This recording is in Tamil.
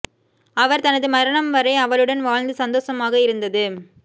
அவர் தனது மரணம் வரை அவளுடன் வாழ்ந்து சந்தோஷமாக இருந்தது